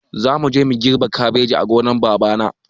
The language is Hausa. Zamuje mu girbe kabeji a gonar babana